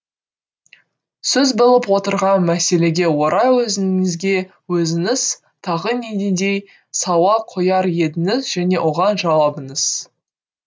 сөз болып отырған мәселеге орай өзіңізге өзіңіз тағы нендей сауал қояр едіңіз және оған жауабыңыз